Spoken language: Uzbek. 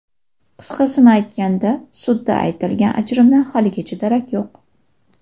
Qisqasini aytganda, sudda aytilgan ajrimdan haligacha darak yo‘q.